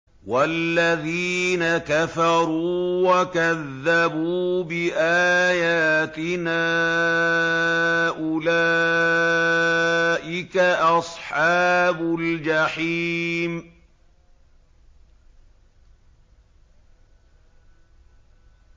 وَالَّذِينَ كَفَرُوا وَكَذَّبُوا بِآيَاتِنَا أُولَٰئِكَ أَصْحَابُ الْجَحِيمِ